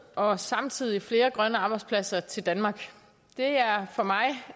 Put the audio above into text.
og samtidig flere grønne arbejdspladser til danmark